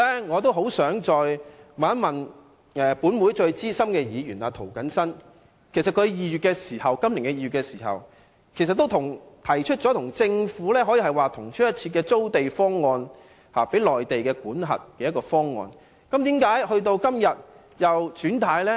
我很想問問本會最資深的涂謹申議員，他今年2月提出了與政府方案如同出一轍的租地方案，由內地管轄，但為何今天又"轉軚"呢？